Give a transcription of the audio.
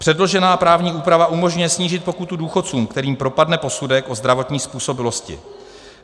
Předložená právní úprava umožňuje snížit pokutu důchodcům, kterým propadne posudek o zdravotní způsobilosti.